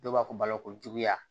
Dɔw b'a fɔ balo ko juguya